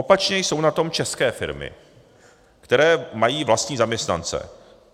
Opačně jsou na tom české firmy, které mají vlastní zaměstnance.